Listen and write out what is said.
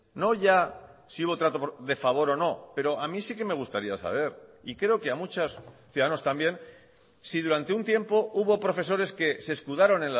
no ya si hubo trato de favor o no pero a mí sí que me gustaría saber y creo que a muchas ciudadanos también si durante un tiempo hubo profesores que se escudaron